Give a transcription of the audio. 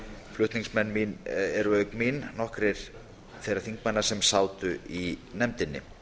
flutningsmenn eru auk mín nokkrir þeirra þingmanna sem sátu í nefndinni